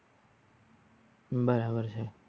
બરાબર છે.